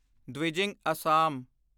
Dwijing Assam